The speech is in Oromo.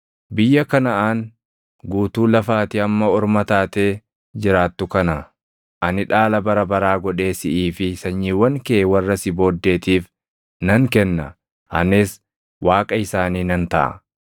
Biyya Kanaʼaan guutuu lafa ati amma orma taatee jiraattu kana ani dhaala bara baraa godhee siʼii fi sanyiiwwan kee warra si booddeetiif nan kenna; anis Waaqa isaanii nan taʼa.”